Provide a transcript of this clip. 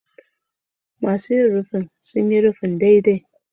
Masu rufin sun ƙusa rufin daidai